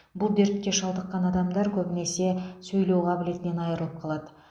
бұл дертке шалдыққан адамдар көбінесе сөйлеу қабілетінен айрылып қалады